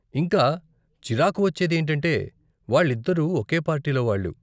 ఇంకా చిరాకు వచ్చేది ఏంటంటే వాళ్ళిద్దరూ ఒకే పార్టీలో వాళ్ళు.